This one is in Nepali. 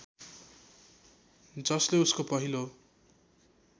जसले उसको पहिलो